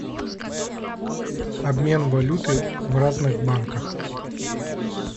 обмен валюты в разных банках